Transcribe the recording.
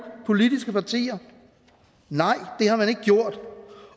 politiske partier nej det har man ikke gjort